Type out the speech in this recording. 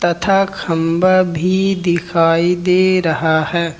था खंबा भी दिखाई दे रहा है।